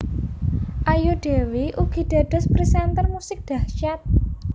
Ayu Dewi ugi dados presenter musik dahsyat